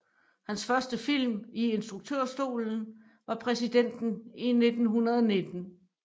Hans første film i instruktørstolen var Præsidenten i 1919